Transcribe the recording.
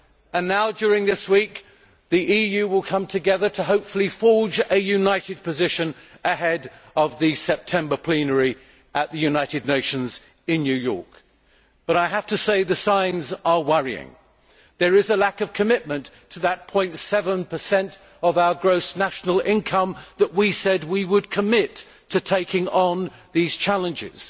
And now, during this week, the EU will come together to hopefully forge a united position ahead of the September plenary at the United Nations in New York. But I have to say the signs are worrying. There is a lack of commitment to that 0.7 of our gross national income that we said we would commit to taking on these challenges.